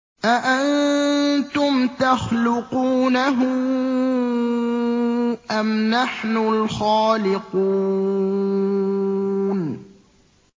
أَأَنتُمْ تَخْلُقُونَهُ أَمْ نَحْنُ الْخَالِقُونَ